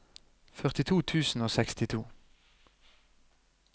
førtito tusen og sekstito